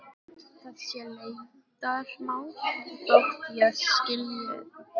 Það sé leyndarmál þótt ég skilji það ekki.